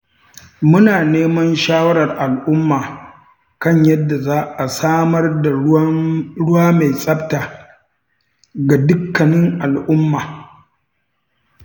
Muna neman shawarar al’umma kan yadda za a samar da ruwa mai tsafta ga dukkanin al’umma.